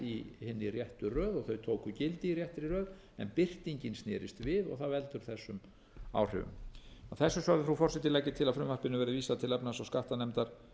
í hinni réttu röð og þau tóku gildi í réttri röð en birtingin snerist við og það veldur þessum áhrifum að þessu sögðu frú forseti legg ég til að frumvarpinu verði séð til efnahags og skattanefndar